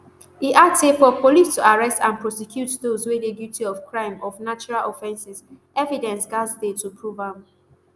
e add say for police to arrest and prosecute dose wey dey guilty of crime of natural offences evidence gatz dey to prove am